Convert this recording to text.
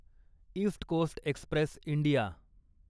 east Coast Express India